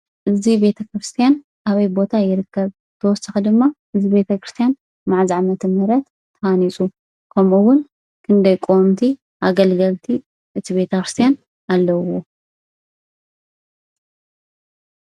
እዚ ቤተክርስትያን ኣበይ ቦታ ይርከብ ?ብተወሳኺ ድማ እዚ ቤተክርስትያን መዓዝ ዓመተ-ምህረት ተሃኒፁ ?ከምኡ እውን ክንደይ ቆወምቲ ኣገልገልቲ እቲ ቤተክርስትያን ኣለውዎ ?